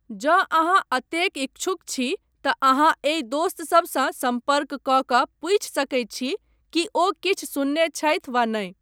जँ अहाँ एतेक इच्छुक छी तँ अहाँ एहि दोस्त सभसँ सम्पर्क कऽ कऽ पूछि सकैत छी कि ओ किछु सुनने छथि वा नहि।